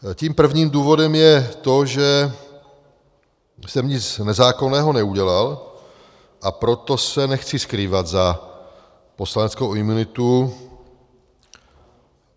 Tím prvním důvodem je to, že jsem nic nezákonného neudělal, a proto se nechci skrývat za poslaneckou imunitu.